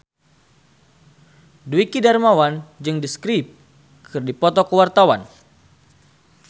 Dwiki Darmawan jeung The Script keur dipoto ku wartawan